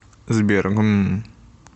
сбер гм